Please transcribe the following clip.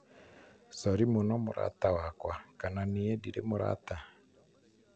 sori mũno mũrata wakwa....kana niĩ ndirĩ mũrata?